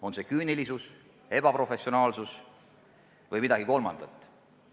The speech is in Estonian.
On see küünilisus, ebaprofessionaalsus või midagi kolmandat?